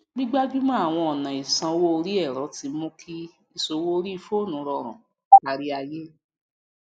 gbígbajúmọ àwọn ọnà ìsanwó orí ẹrọ ti mú kí ìṣòwò orí fóònù rọrùn káríayé